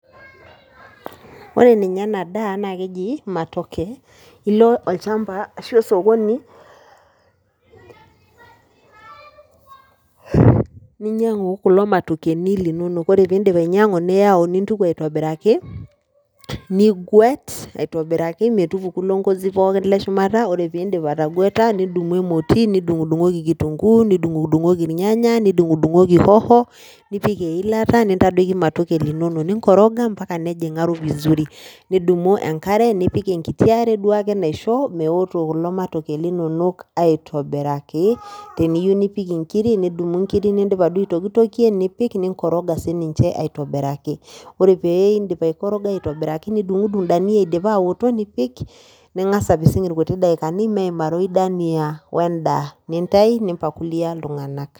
Ore ninye enadaa naakeji matoke ilo olchamba ashu osokoni ninyang'u kulo matokeni linono ore piindip ainyang'u niyau nintuku aitobiraki, niguet aitobiraki metupuku ilo ngozi pooki leshumata ore piindip atagueta nidumu emoti nidung'udung'oki  kitunguu nidung'udung'oki ilnyanya nidung'udung'oki hoho nipik eilata nintadoiki matoke linonok ninkoroga mpaka nejing'aro  vizuri. Nidumu enkare nipik enkiti are duake naisho meoto kulo matoke linonok aitobiraki teniyou nipik inkiri nidumu inkiri nindipa duo aitokitokie nipik ninkoroga siininche aitobiraki. Ore peeindip aikoroga aitobiraki nidung'udung' dania eidipa aaoto nipik ning'as apising ilkuti daikani meimaroyu daniaa oendaa nintai nimpakulia iltung'anak.